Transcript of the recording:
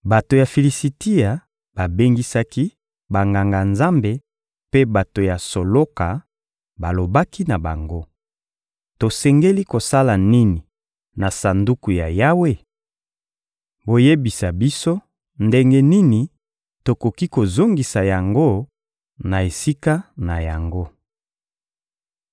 bato ya Filisitia babengisaki Banganga-Nzambe mpe bato ya soloka, balobaki na bango: — Tosengeli kosala nini na Sanduku ya Yawe? Boyebisa biso ndenge nini tokoki kozongisa yango na esika na yango.